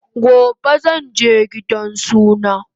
Gobe zanje gidan suna